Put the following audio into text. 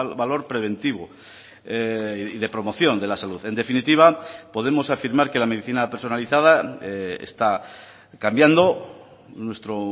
valor preventivo y de promoción de la salud en definitiva podemos afirmar que la medicina personalizada está cambiando nuestro